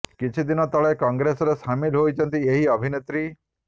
କିଛି ଦିନ ତଳେ କଂଗ୍ରେସରେ ସାମିଲ ହୋଇଛନ୍ତି ଏହି ଅଭିନେତ୍ରୀ